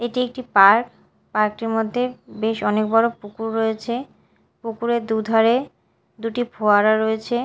এটি একটি park park -টির মধ্যে বেশ অনেক বড় পুকুর রয়েছে পুকুরের দুধারে দুটি ফোয়ারা রয়েছে।